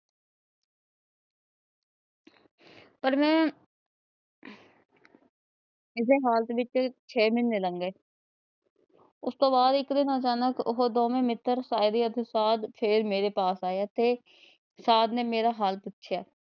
ਪਰ ਮੈ ਇਸੇ ਹਾਲਤ ਵਿੱਚ ਛੇ ਮਹੀਨੇ ਲੱਗੇ। ਉਸ ਤੋਂ ਬਾਦ ਇੱਕ ਦਿਨ ਉਹ ਅਚਾਨਕ ਉਹ ਦੋਵੇ ਮਿੱਤਰ ਸਾਈਦੀ ਅਤੇ ਸਾਈਦ ਫੇਰ ਮੇਰੇ ਪਾਸ ਆਏ ਅਤੇ ਸਾਈਦ ਨੇ ਮੇਰਾ ਹਾਲ ਪੁੱਛਿਆ।